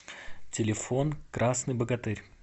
телефон красный богатырь